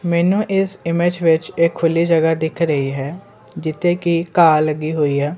ਮੈਂਨੂੰ ਇਸ ਇਮੇਜ ਵਿੱਚ ਇਕ ਖੁੱਲ੍ਹੀ ਜਗ੍ਹਾ ਦਿੱਖ ਰਹੀ ਹੈ ਜਿੱਥੇ ਕੀ ਘਾਹ ਲੱਗੀ ਹੋਈ ਹੈ।